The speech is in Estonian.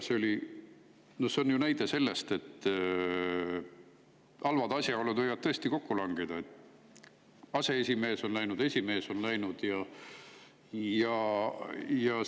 See on ju näide selle kohta, et halvad asjaolud võivad tõesti kokku langeda: aseesimees on, esimees on.